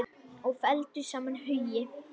Og felldu saman hugi.